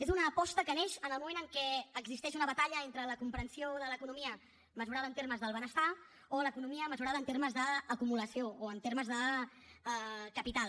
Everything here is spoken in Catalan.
és una aposta que neix en el moment en què existeix una batalla entre la comprensió de l’economia mesurada en termes del benestar o l’economia mesurada en termes d’acumulació o en termes de capital